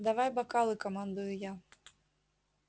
давай бокалы командую я